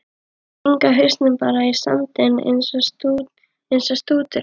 Stinga hausnum bara í sandinn eins og strúturinn!